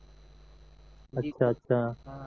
अच्छा अच्छा